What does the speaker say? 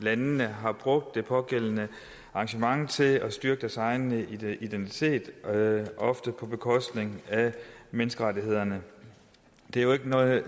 landene har brugt det pågældende arrangement til at styrke deres egen identitet ofte på bekostning af menneskerettighederne det er jo ikke noget